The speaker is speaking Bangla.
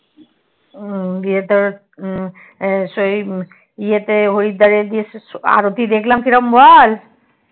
গিয়ে ইয়ে তোর সেই ইয়েত হরিদ্বার এ আরতি দেখলাম কিরম বল